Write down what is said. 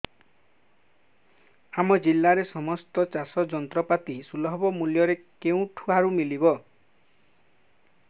ଆମ ଜିଲ୍ଲାରେ ସମସ୍ତ ଚାଷ ଯନ୍ତ୍ରପାତି ସୁଲଭ ମୁଲ୍ଯରେ କେଉଁଠାରୁ ମିଳିବ